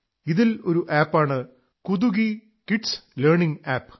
ഇതിൽ ഒരു ആപ് ആണ് കുടുകി കിഡ്സ് ലേണിംഗ് ആപ്